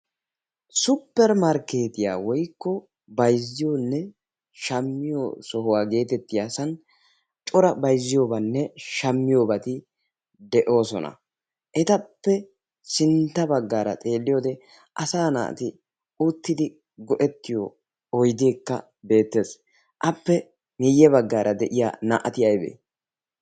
suppermarkkeetiyaa woykko bayzziyoonne shaammiyo sohuwaa geetettiyasan cora bayzziyoobanne shaammiyoobaati de'oosona. etappe sintta baggaara xeelliyoode asa na'ati uttidi go'ettiyo oydeekka beettees appe meiyye baggaara de'iya naa"ati aybee?